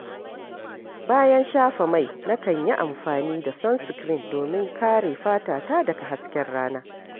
Bayan shafa mai, nakan yi amfani da sunscreen domin kare fatata daga hasken rana.